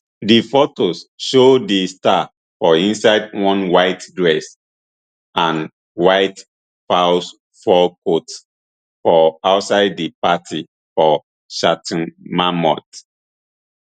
di fotos show di star for inside one white dress and white faux fur coat for outside di party for chateau marmont